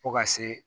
Fo ka se